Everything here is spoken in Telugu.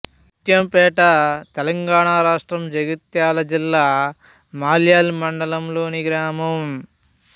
ముత్యంపేట తెలంగాణ రాష్ట్రం జగిత్యాల జిల్లా మల్యాల్ మండలంలోని గ్రామం